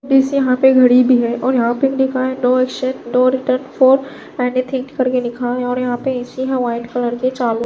बीस यहाँ पे घड़ी भी है और यहाँ पे लिखा है no exchange no return for any think करके लिखा है और यहाँ पे एसी है व्हाइट कलर के चालु --